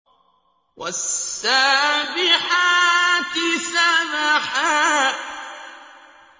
وَالسَّابِحَاتِ سَبْحًا